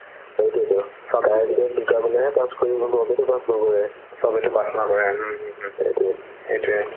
সেইটোয়েতো সেইটোৱে